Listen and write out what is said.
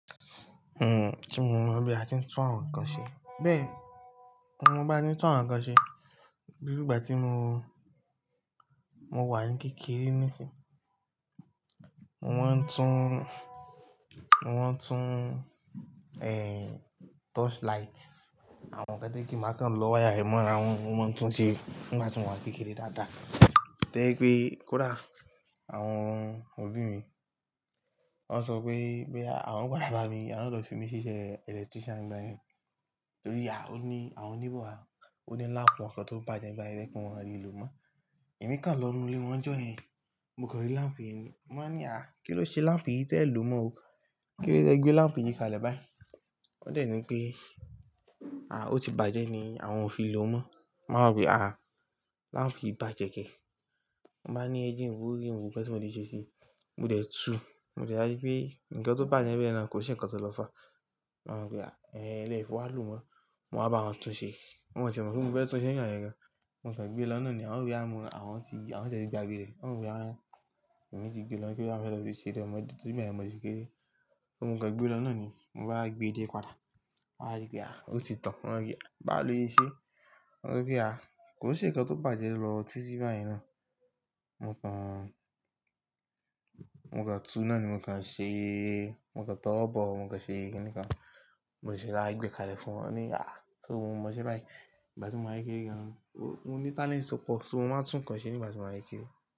Hmm, tí mo mọ̀ bí a ti ń tún àwọn nǹkan ṣe. Bẹ́ẹ̀ ni, mo mo bá tí n tún àwọn nǹkan ṣe, irú ìgbà tí mo, mo wà ní kékeré nísìń, mo máa ń tún, mo máa ń tún, ehn, torchlight àwọn kán to je pe má kan lọ wáyà rẹ̀ mọ́ ara wọn, mo máa ń tún ṣe nígbà tí mo wà n kékeré dáadáa. To je pé kódà àwọn òbí mi wọ́n sọ pé, pé àwọn pàdá bá mi, àwọn o lọ fi mí síṣẹ́ electrician nígbà yẹn. Torí à ó ní àwọn neighbour wa, ó ní láàpù wọn kan tó bàjẹ́ nígbà yẹn, to je pe wọn a lè lò mọ́. Ẹ̀mí kan lọ inú ilé wọn nijọ́ yẹn, mo kan rí láàmpù yẹn ni, mo wáa ní, à kí ló ṣe láàmpù yìí tẹ́ ẹ lò mọ́ o? Kí ló dẹ té gbé láàmpù yìí kalẹ̀ báyìí? Wọ́n dẹ̀ ní pé, à ó ti bàjẹ́ ni àwọn ò fi lò mọ́. Mo wá wo pe ah ah, láàmpù yìí bàjẹ́ kẹ́? Mo bá ní ẹ jẹ́ nwo, e je nwo ǹkan ti mo lè ṣe sí i. Mo dẹ̀ tu, mo dẹ̀ rí pé nǹkan tó bàjẹ́ bẹ́ẹ̀ náà kò se ǹkan tó lọ fà á. Mo wa wo pe ah, ehn lẹ́fi wa lo o mọ́. Mo wá bá wọn tún ṣe. Wọn ò ti e mọ̀ pé mo fẹ́ tún ṣe ǹ joyen an yẹn gan. Mo kàn gbé lọ́ nàa ni, wọ́n ó ro pe bóyá àwọn ti, àwọn ti e ti gba gbé rẹ̀. Wọ́n ro boyà, ẹ̀mí ti gbé lọ́ bóyá mo fee lo fi se eré ọmọdé, torí gbayen mo ri pe. Mo kàn gbé lọ́nà ni, mo bá gbé dé padà. Wọn á rí pé à ó ti tàn. Wọn á wí, à báwo lò se ṣẹ́? Mo so pe a á wí, à kò se ǹkan tó bàjẹ́ lọ títí báyen náà. Mo kan, mo kan tú náà ni mo kan ṣe, mo kan tọ́ lọ́bọ, mo kan ṣe ìrínìkan. Mo sì rí láti gbé kalẹ̀ fún wọn ní, à so o mọ̀ ṣe báyìí. Ìgbà tí mo wà kékeré gan-an, mo ní talent to, mo máa ń tún nǹkan ṣe nígbà tí mo wà kékeré.